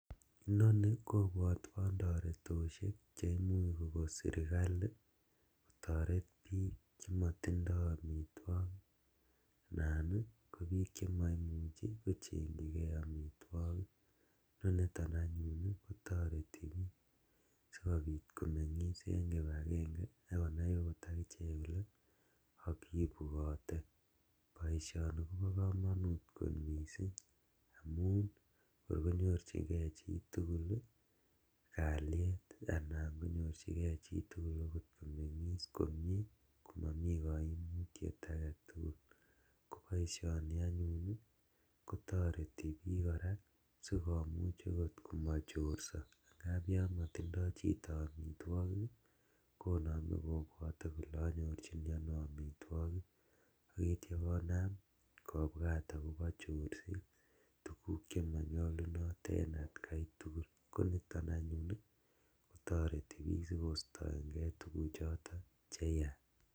Inoni kobwotwon toretoshek cheimuch kokon sirkali kotoret bik chomotindo omitwogik anan kobik chemoimuchi kochenjigee omitwogik, koniton anyun kotoreti bik sikobik komengis en kipagenge akonai ot akichek kole kibwote , boisioni kobo komonut kot misink amun ngor konyorjigee chitugul kaliet anan konyorjigee okot chitugul komengis komie komomi koimutiet agetugul, koboisien anyun kotoreti bik sikomuch okot komochorso angap yon motindo chito omitwogik konome kole onyorjini ono omitwogik ak itio konam kobwat akobo chorset tuguk chemonyolunot en atkaitugul koniton anyun ii kotoreti bik sikostoengee tuguk cheyach.